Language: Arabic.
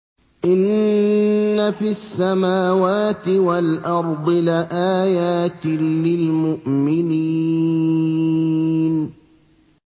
إِنَّ فِي السَّمَاوَاتِ وَالْأَرْضِ لَآيَاتٍ لِّلْمُؤْمِنِينَ